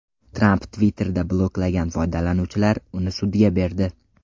Tramp Twitter’da bloklagan foydalanuvchilar uni sudga berdi.